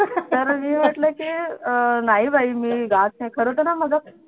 तर मी म्हटलं अह की नाही बाई मी गात नाही खरं तर ना मला